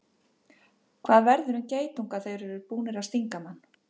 hvað verður um geitunga þegar þeir eru búnir að stinga mann